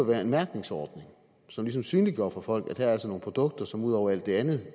være en mærkningsordning som ligesom synliggør for folk at der altså er nogle produkter som ud over alt det andet